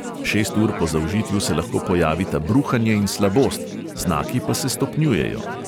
Šest ur po zaužitju se lahko pojavita bruhanje in slabost, znaki pa se stopnjujejo.